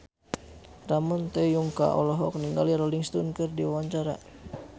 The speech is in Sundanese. Ramon T. Yungka olohok ningali Rolling Stone keur diwawancara